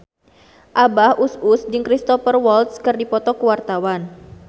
Abah Us Us jeung Cristhoper Waltz keur dipoto ku wartawan